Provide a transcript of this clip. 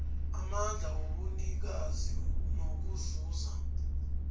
amandla wobunikazi nokuzuza